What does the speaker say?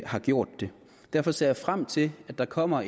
har gjort det derfor ser jeg frem til at der kommer